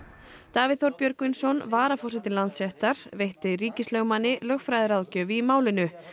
Davíð Þór Björgvinsson varaforseti Landsréttar veitti ríkislögmanni lögfræðiráðgjöf í málinu